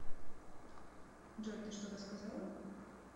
джой ты что то сказала